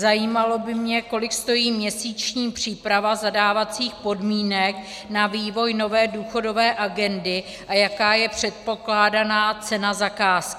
Zajímalo by mě, kolik stojí měsíční příprava zadávacích podmínek na vývoj nové důchodové agendy a jaká je předpokládaná cena zakázky.